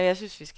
Alme Orned